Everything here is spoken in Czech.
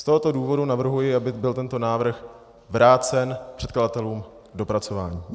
Z tohoto důvodu navrhuji, aby byl tento návrh vrácen předkladatelům k dopracování.